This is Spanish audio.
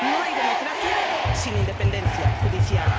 No hay democracia sin independencia judicial.